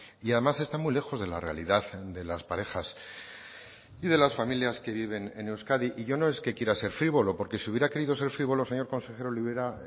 y además está muy lejos de la realidad de las parejas y de las familias que viven en euskadi y yo no es que quiera ser frívolo porque si hubiera querido ser frívolo señor consejero